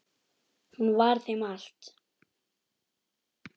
Hún var þeim allt.